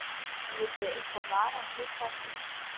Verðið þið eitthvað varar við það hér?